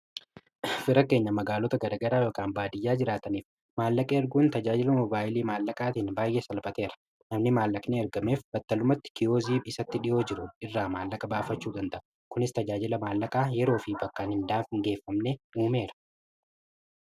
Fira keenya magaalota garagaraa yookaan baadiyyaa jiraataniif maallaqa erguun tajaajila mobaayilii maallaqaatiin baay'ee salphateera namni maallaqni ergameef battalumatti kiyoozii isatti dhi'oo jiru irraa maallaqa baafachuu danda'a kunis tajaajila maallaqaa yeroo fi bakkaan hindaageeffamne uumeera.